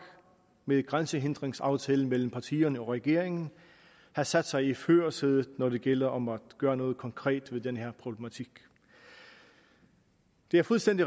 med grænsehindringsaftalen mellem partierne og regeringen har sat sig i førersædet når det gælder om at gøre noget konkret ved den her problematik det er fuldstændig